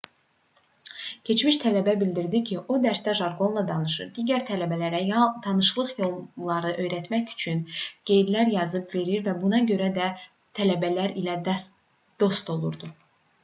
keçmiş tələbə bildirdi ki o dərsdə jarqonla danışır digər tələbələrə tanışlıq yollarını öyrətmək üçün qeydlər yazıb verir və buna görə də tələbələr ilə dost olurdu